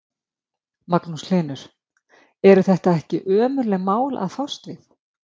Magnús Hlynur: Eru þetta ekki ömurleg mál að fást við?